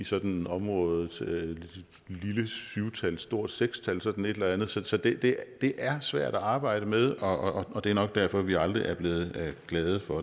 sådan området lille syv tal stort seks tal sådan et eller andet så så det det er svært at arbejde med og og det er nok derfor at vi aldrig er blevet glade for